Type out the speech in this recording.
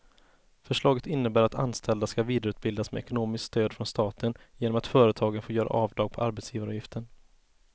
Förslaget innebär att anställda ska vidareutbildas med ekonomiskt stöd från staten genom att företagen får göra avdrag på arbetsgivaravgiften.